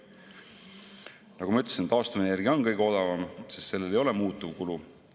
Nagu ma ütlesin, taastuvenergia on kõige odavam, sest sellel ei ole muutuvkulu.